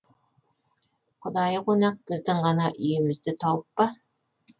құдайы қонақ біздің ғана үйімізді тауып па